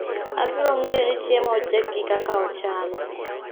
Abiro ng'eyo ni chiemo ochiek gi kaka ochal